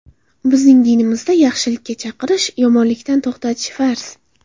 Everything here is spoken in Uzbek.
Bizning dinimizda yaxshilikka chaqirish, yomonlikdan to‘xtatish farz.